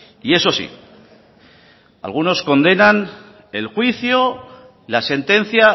y eso sí algunos condenan el juicio la sentencia